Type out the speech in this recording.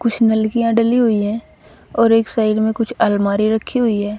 कुछ नलकिया डली हुई है और एक साइड में कुछ अलमारी रखी हुई है।